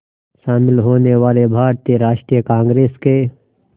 शामिल होने वाले भारतीय राष्ट्रीय कांग्रेस के